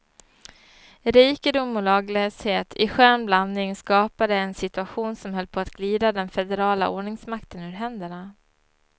Rikedom och laglöshet i skön blandning skapade en situation som höll på att glida den federala ordningsmakten ur händerna.